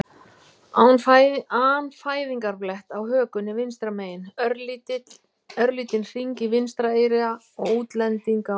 an fæðingarblett á hökunni vinstra megin, örlítinn hring í vinstra eyra og útlendinga á heilanum.